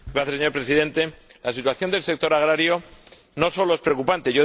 Señor Presidente, la situación del sector agrario no solo es preocupante